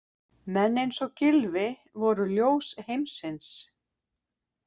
Menn eins og Gylfi voru ljós heimsins.